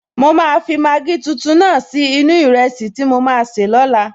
Mo máa fi Maggi tuntun náà sí inú-u ìrẹsì tí mo maa sè lóla